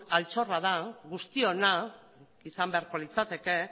altxorra da guztiona izan beharko litzateke